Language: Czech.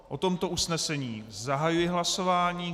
O tomto usnesení zahajuji hlasování.